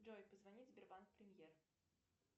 джой позвони в сбербанк премьер